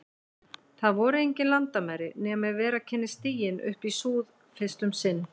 Þar voru engin landamæri, nema ef vera kynni stiginn upp í súð- fyrst um sinn.